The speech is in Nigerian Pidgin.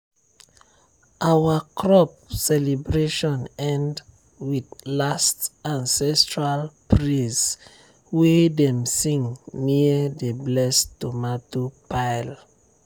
our crop celebration end with last ancestral praise wey dem sing near the blessed tomato pile.